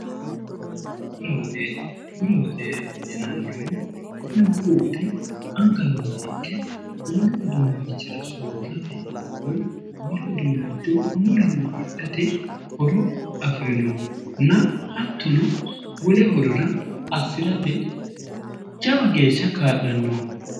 bura woxe yinanniho kuni buru woxi anga nooha ikke wollu uduunnichira soorrate woy wole uduunnicho mulinni hidhate horo afi'rinoho na hattono wole horora assi'rate jawa geeshsha kaa'lannoho